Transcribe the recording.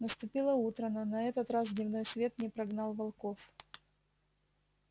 наступило утро но на этот раз дневной свет не прогнал волков